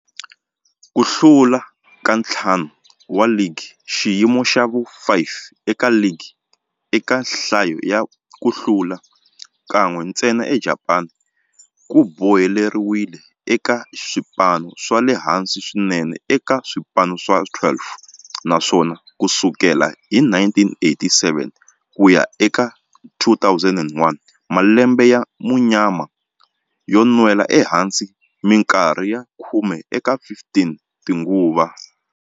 Ku hlula ka ntlhanu wa ligi xiyimo xa vu 5 eka ligi eka nhlayo ya ku hlula, kan'we ntsena eJapani ku boheleriwile eka swipano swa le hansi swinene eka swipano swa 12, naswona ku sukela hi 1987 ku ya eka 2001, malembe ya munyama yo nwela ehansi minkarhi ya khume eka 15 tinguva.